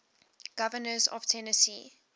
governors of tennessee